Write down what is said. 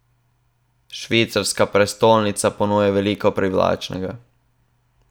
Švicarska prestolnica ponuja veliko privlačnega.